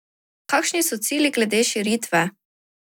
Kakšni so cilji glede širitve?